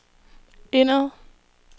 indad